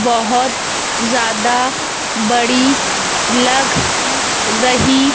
बहोत जादा बड़ी लग रही--